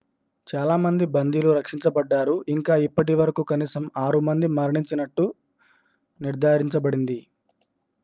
చాలా మంది బందీలు రక్షించబడ్డారు ఇంకా ఇప్పటివరకు కనీసం 6 మంది మరణించినట్లు నిర్ధారించబడింది